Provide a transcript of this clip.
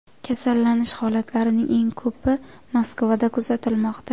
Kasallanish holatlarining eng ko‘pi Moskvada kuzatilmoqda.